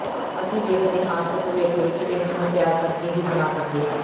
ਅਸੀ ਵੇਖਦੇ ਹਾਂ ਕਿ ਭਵਿੱਖ ਵਿਚ ਇਸ ਨੂੰ ਤਿਆਰ ਕਰਕੇ ਕੀ ਬਣਾ ਸਕਦੇ ਹਾਂ